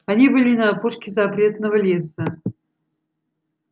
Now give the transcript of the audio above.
они были на опушке запретного леса